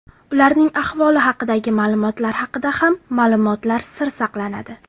Ularning ahvoli haqidagi ma’lumotlar haqida ham ma’lumotlar sir saqlanadi.